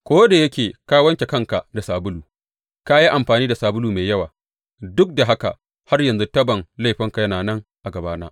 Ko da yake ka wanke kanka da sabulu ka yi amfani da sabulu mai yawa, duk da haka har yanzu tabon laifinka yana nan a gabana,